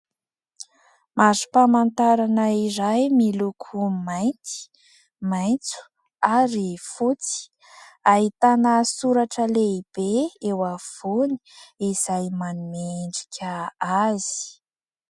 Marim-pamantarana iray miloko mainty, maitso ary fotsy. Ahitana soratra lehibe eo afovoany izay manome endrika azy.